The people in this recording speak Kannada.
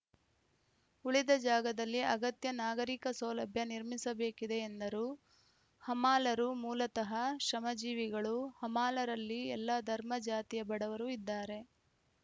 ಉಳಿದ ಜಾಗದಲ್ಲಿ ಅಗತ್ಯ ನಾಗರಿಕ ಸೌಲಭ್ಯ ನಿರ್ಮಿಸಬೇಕಿದೆ ಎಂದರು ಹಮಾಲರು ಮೂಲತಃ ಶ್ರಮಜೀವಿಗಳು ಹಮಾಲರಲ್ಲಿ ಎಲ್ಲ ಧರ್ಮ ಜಾತಿಯ ಬಡವರು ಇದ್ದಾರೆ